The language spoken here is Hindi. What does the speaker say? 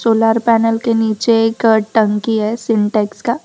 सोलर पैनल के नीचे एक टंकी है सिंटेक्स का।